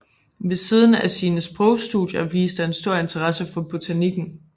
Ved siden af sine sprogstudier viste han stor interesse for botanikken